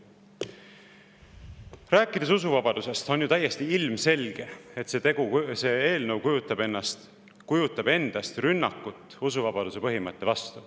Kui rääkida usuvabadusest, siis on ju täiesti ilmselge, et see eelnõu kujutab endast rünnakut usuvabaduse põhimõtte vastu.